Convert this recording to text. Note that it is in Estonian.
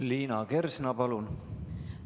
Liina Kersna, palun!